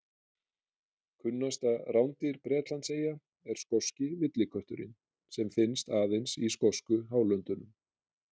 Kunnasta rándýr Bretlandseyja er skoski villikötturinn sem finnst aðeins í skosku hálöndunum.